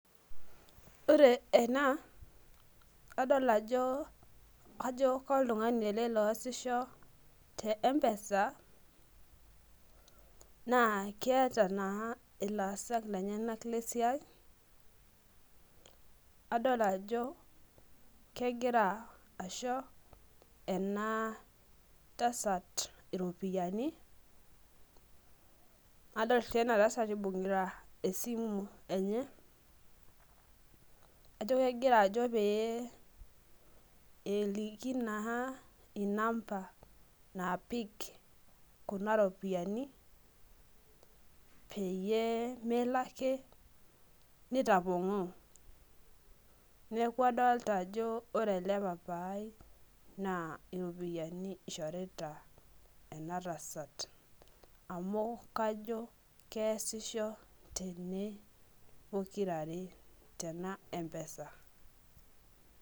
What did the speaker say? ore ena naa kajo koltung'ani ele osisho tee mpeesa naa keeta naa ilasak lenyanak lesiai, adol ajo kegira aisho ena tasat iropiyiani, nadol sii enatasat ibung'ita esimu enye, kajo kegira ajo pee eliki naa inamba naapik kuna ropiyiani peyie melo ake nitapong'oo neeku adolta ajo iyiolo ele papai naa iropiyiani ishorita ena tasat, amu kajo keesisho tene pokirare tena empesa.